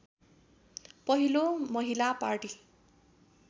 पहिलो महिला पार्टी